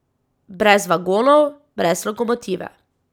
Brez vagonov, brez lokomotive.